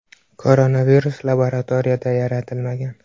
Koronavirus laboratoriyada yaratilmagan.